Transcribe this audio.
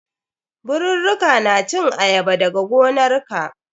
Birurruka na cin ayaba dag gonarka.